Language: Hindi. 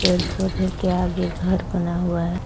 पेड़ पौधे के आगे घर बना हुआ है।